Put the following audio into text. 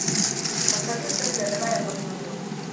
пассажир дождя давай я посмотрю